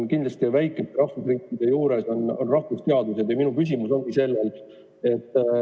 Kindlasti väikestes rahvusriikides on väga olulised rahvusteadused ja minu küsimus ongi sellel teemal.